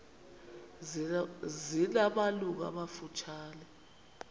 zina malungu amafutshane